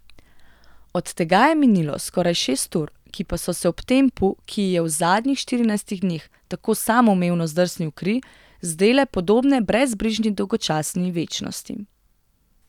Od tega je minilo skoraj šest ur, ki pa so se ob tempu, ki ji je v zadnjih štirinajstih dneh tako samoumevno zdrsnil v kri, zdele podobne brezbrižni, dolgočasni večnosti.